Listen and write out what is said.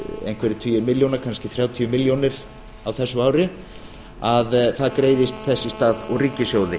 einhverjir tugir milljóna kannski þrjátíu milljónir á þessu ári að það greiðist þess í stað úr ríkissjóði